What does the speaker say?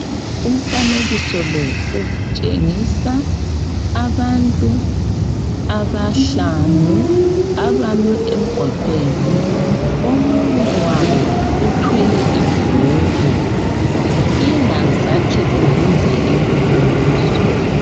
Umfanekiso lo utshengisa abantu abahlanu abame emgwaqweni, omunye wabo uthwele ibhuku ingazathi ubuza imibuzo.